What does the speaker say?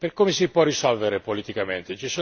Come si può risolvere politicamente?